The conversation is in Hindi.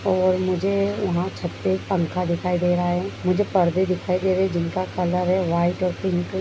और मुझे वहाँ छत पे पंखा दिखाई दे रहा है। मुझे पर्दे दिखाई दे रहे हैं। जिनका कलर है व्हाइट और पिंक ।